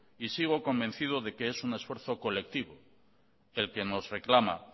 y sigo convencido de que es un esfuerzo colectivo el que nos reclama